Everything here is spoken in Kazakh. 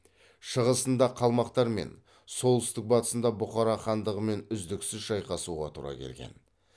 шығысында қалмақтармен солтүстік батысында бухара хандығымен үздіксіз шайқасуға тура келген